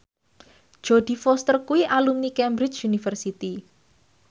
Jodie Foster kuwi alumni Cambridge University